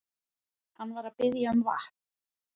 Hann var að biðja um vatn.